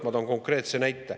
Ma toon konkreetse näite.